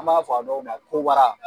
An b'a fɔ a dɔw ma ko wara.